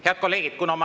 Head kolleegid!